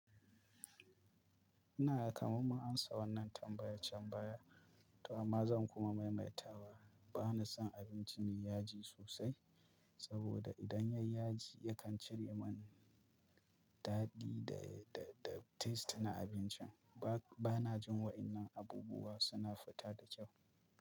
Ina gan kaman ma na amsa wannan tambayan can baya toh amma zan kuma maimaita wa bana son abinci mai yaji sosai, saboda idan yayi yaji yakan cire man daɗi da, da, da taste na abincin. Ba, bana jin waɗannan abubuwa suna fita da kyau.